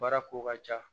Baara ko ka ca